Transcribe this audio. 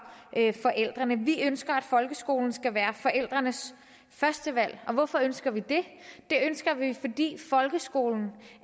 forældrene vi ønsker at folkeskolen skal være forældrenes førstevalg hvorfor ønsker vi det det ønsker vi fordi folkeskolen